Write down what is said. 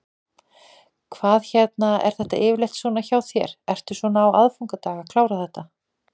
Hvað hérna, er þetta yfirleitt svona hjá þér, ertu svona á aðfangadag að klára þetta?